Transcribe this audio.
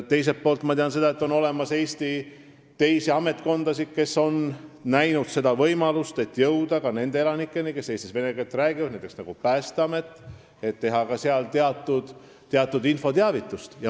Teiselt poolt ma tean, et Eestis on ametkondasid, näiteks Päästeamet, kes on näinud seal võimalust, kuidas jõuda ka nende Eesti elanikeni, kes vene keeles räägivad, ja on teinud seal kanalis teatud infoteavitust.